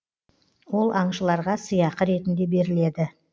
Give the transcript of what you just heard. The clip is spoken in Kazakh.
ол аңшыларға сыйақы ретінде беріледі